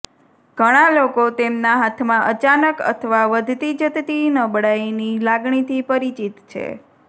ઘણા લોકો તેમના હાથમાં અચાનક અથવા વધતી જતી નબળાઈની લાગણીથી પરિચિત છે